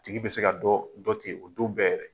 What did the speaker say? tigi bɛ se ka dɔn dɔn ten o don bɛɛ yɛrɛ.